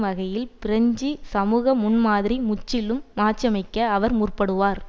வகையில் பிரெஞ்சு சமூக முன்மாதிரி முற்றிலும் மாற்றியமைக்க அவர் முற்படுவார்